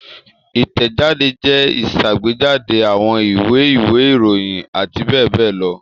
Ìtẹ̀jáde jẹ́ ìṣàgbéjáde àwọn ìwé, ìwé-ìròyìn àti bẹ́ẹ̀ bẹ́ẹ̀ lọ.